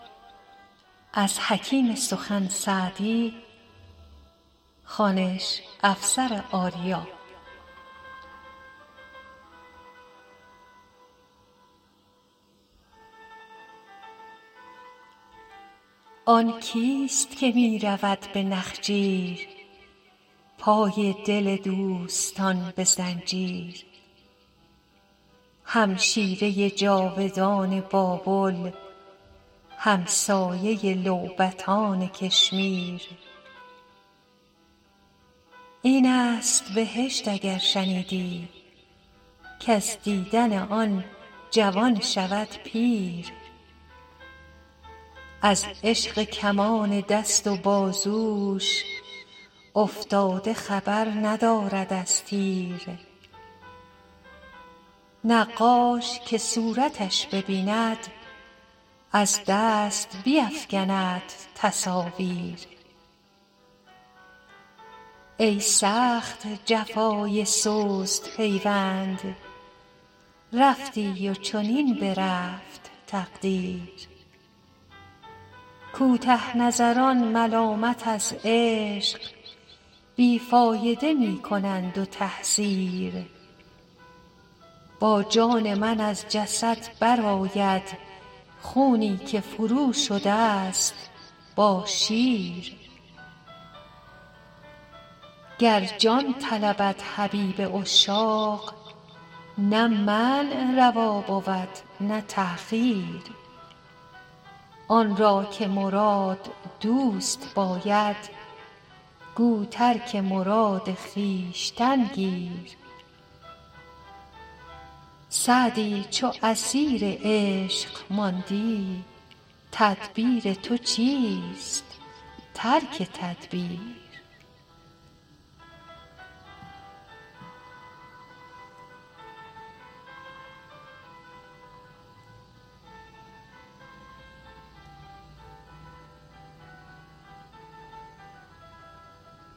آن کیست که می رود به نخجیر پای دل دوستان به زنجیر همشیره جادوان بابل همسایه لعبتان کشمیر این است بهشت اگر شنیدی کز دیدن آن جوان شود پیر از عشق کمان دست و بازوش افتاده خبر ندارد از تیر نقاش که صورتش ببیند از دست بیفکند تصاویر ای سخت جفای سست پیوند رفتی و چنین برفت تقدیر کوته نظران ملامت از عشق بی فایده می کنند و تحذیر با جان من از جسد برآید خونی که فروشده ست با شیر گر جان طلبد حبیب عشاق نه منع روا بود نه تأخیر آن را که مراد دوست باید گو ترک مراد خویشتن گیر سعدی چو اسیر عشق ماندی تدبیر تو چیست ترک تدبیر